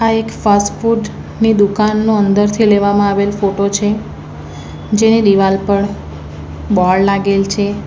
આ એક fast food ની દુકાનનો અંદરથી લેવામાં આવેલ ફોટો છે જેની દિવાલ પળ બોર્ડ લાગેલ છે.